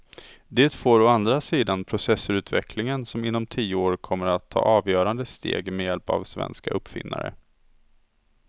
Det får å andra sidan processorutvecklingen som inom tio år kommer att ta avgörande steg med hjälp av svenska uppfinnare.